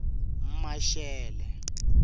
maxele